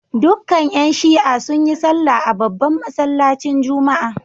Dukkan ‘yan Shi’a sun yi sallah a babban masallacin Juma’a